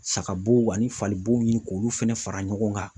Sagabow ani fali bow ni k'olu fɛnɛ fara ɲɔgɔn kan.